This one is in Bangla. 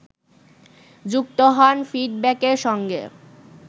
যুক্ত হন ফিডব্যাকের সঙ্গে